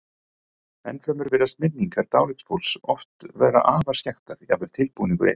Ennfremur virðast minningar dáleidds fólks oft vera afar skekktar, jafnvel tilbúningur einn.